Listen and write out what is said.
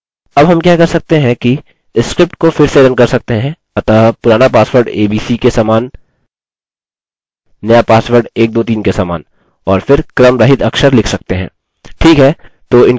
अब हम क्या कर सकते हैं कि स्क्रिप्ट को फिर से रन कर सकते हैं अतः पुराना पासवर्ड abc के समान नया पासवर्ड 123 के समान और फिर क्रमरहित अक्षर लिख सकते हैं